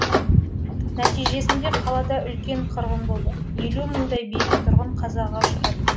нәтижесінде қалада үлкен қырғын болды елу мыңдай бейбіт тұрғын қазаға ұшырады